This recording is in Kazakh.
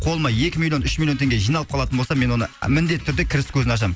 қолыма екі миллион үш миллион теңге жиналып қалатын болса мен оны міндетті түрде кіріс көзін ашамын